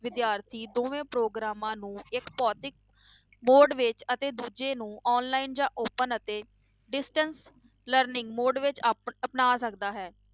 ਵਿਦਿਆਰਥੀ ਦੋਵੇਂ ਪ੍ਰੋਗਰਾਮਾਂ ਨੂੰ ਇੱਕ ਭੌਤਿਕ mode ਵਿੱਚ ਅਤੇ ਦੂਜੇ ਨੂੰ online ਜਾਂ open ਅਤੇ distance learning mode ਵਿੱਚ ਆਪਣ ਅਪਣਾ ਸਕਦਾ ਹੈ